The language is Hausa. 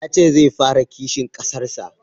Ya ce zai fara kishin kasar sa